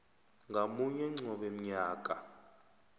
ngamunye qobe mnyaka